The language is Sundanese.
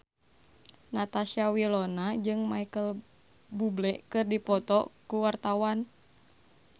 Natasha Wilona jeung Micheal Bubble keur dipoto ku wartawan